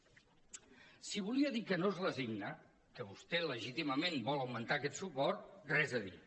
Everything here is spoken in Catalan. si volia dir que no es resigna que vostè legítimament vol augmentar aquest suport res a dir